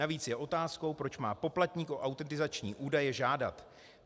Navíc je otázkou, proč má poplatník o autentizační údaje žádat.